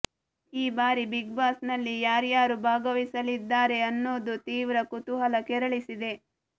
ಈ ಬಾರಿ big boss ನಲ್ಲಿ ಯಾರ್ಯಾರು ಭಾಗವಹಿಸಲಿದ್ದಾರೆ ಅನ್ನೋದು ತೀವ್ರ ಕುತೂಹಲ ಕೆರಳಿಸಿದೆ